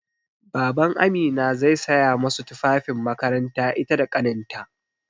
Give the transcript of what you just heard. BabanAmina zai saya masu tufafin makaranta ita da ƙaninta.